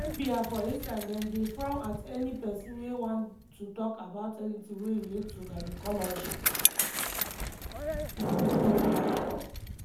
in zambia for instance dem dey frown at any pesin wey wan to talk about anything wey relate to gynaecology.